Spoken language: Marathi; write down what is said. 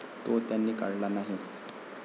तो त्यांनी काढला नाही.